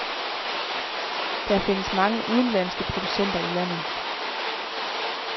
Der findes mange udenlandske producenter i landet.